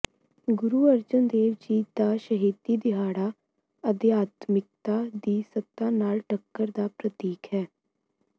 ਗੁਰੁ ਅਰਜਨ ਦੇਵ ਜੀ ਦਾ ਸ਼ਹੀਦੀ ਦਿਹਾੜਾ ਅਧਿਆਤਮਿਕਤਾ ਦੀ ਸੱਤਾ ਨਾਲ਼ ਟੱਕਰ ਦਾ ਪ੍ਰਤੀਕ ਹੈ